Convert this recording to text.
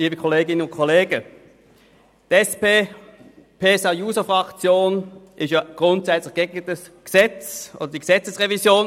DieSP-JUSO-PSA-Fraktion ist grundsätzlich gegen dieses Gesetz beziehungsweise die Gesetzesrevision.